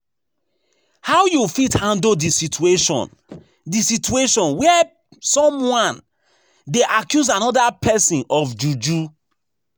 How you fit handle di situation di situation where someone dey accuse anoda pesin of using juju?